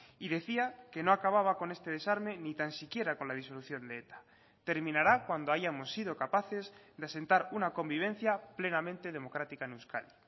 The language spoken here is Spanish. y decía que no acababa con este desarme ni tan siquiera con la disolución de eta terminará cuando hayamos sido capaces de sentar una convivencia plenamente democrática en euskadi